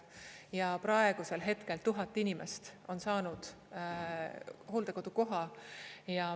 Ja praegusel hetkel 1000 inimest on saanud hooldekodukoha.